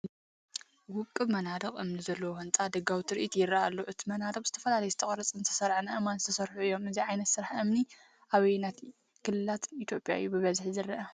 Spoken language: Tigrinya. ውቑብ መንደቕ እምኒ ዘለዎ ህንጻ ደጋዊ ትርኢት ይረአ ኣሎ። እቲ መናድቕ ብዝተፈላለዩ ዝተቖርጹን ዝተሰርዑን ኣእማን ዝተሰርሑ እዮም። እዚ ዓይነት ስራሕ እምኒ ኣብ ኣየኖትክልላት ኢትዮጵያ እዩ ብብዝሒ ዝረአ?